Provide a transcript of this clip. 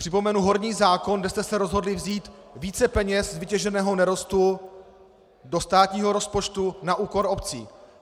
Připomenu horní zákon, kde jste se rozhodli vzít více peněz z vytěženého nerostu do státního rozpočtu na úkor obcí.